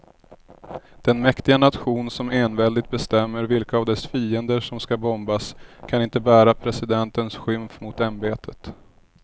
Den mäktiga nation som enväldigt bestämmer vilka av dess fiender som ska bombas kan inte bära presidentens skymf mot ämbetet.